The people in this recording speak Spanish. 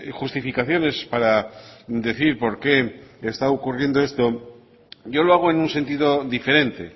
justificaciones para decir por qué está ocurriendo esto yo lo hago en un sentido diferente